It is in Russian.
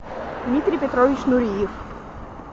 дмитрий петрович нуриев